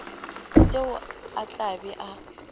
tšeo a tla bego a